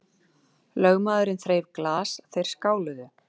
Lögmaðurinn þreif glas, þeir skáluðu.